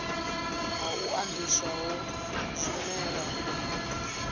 ha u andiswa ho zwimela